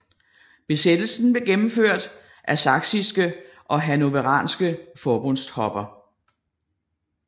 Besættelsen blev gennemført af saksiske og hannoveranske forbundstropper